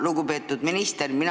Lugupeetud minister!